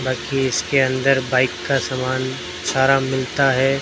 बाकि इसके अंदर बाइक का सामान सारा मिलता है।